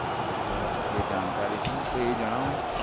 બરાબર એ જાણકારી છે તો એ જણાવોને